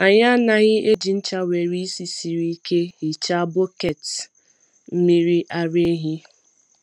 Anyị anaghị eji ncha nwere ísì siri ike hichaa bọket mmiri ara ehi.